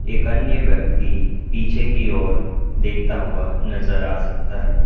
एक अन्य व्यक्ति पीछे की ओर देखता हुआ नजर आ सकता है।